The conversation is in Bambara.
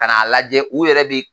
Ka n'a lajɛ u yɛrɛ bi